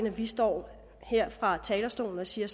at vi står her fra talerstolen og siger